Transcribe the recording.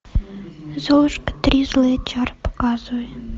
золушка три злые чары показывай